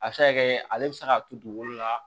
A bɛ se ka kɛ ale bɛ se k'a to dugukolo la